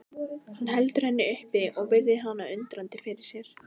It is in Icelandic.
Hann heldur henni upp og virðir hana undrandi fyrir sér.